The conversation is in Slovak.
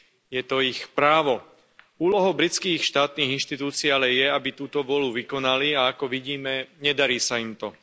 Je to ich právo. Úlohou britských štátnych inštitúcií ale je, aby túto vôľu vykonali, a ako vidíme, nedarí sa im to.